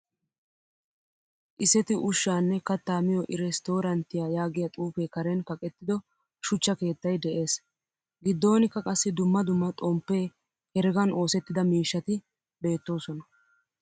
Iseti ushshanne katta miyo irestoranttiyaa yaagiyaa xuufe karen kaqqettido shuchcha keettay de'ees. Giddonikka qassi dumma dumma xomppe, heregan oosettida miishshati beettosona.